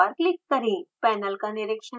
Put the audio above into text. panel का निरिक्षण करें